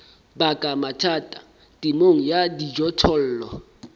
baka mathata temong ya dijothollo